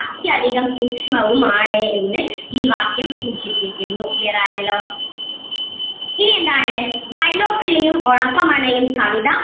അത്യധികം സൂക്ഷ്‌മവും ആണ് എന്ന് ഈ വാക്യം സൂചിപ്പിക്കുന്നു clear ആയല്ലോ. ഇനി എന്താണ് വൈലോപ്പിള്ളിയും ഒളപ്പമണ്ണയും കവിത